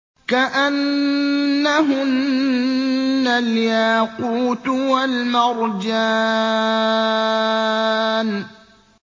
كَأَنَّهُنَّ الْيَاقُوتُ وَالْمَرْجَانُ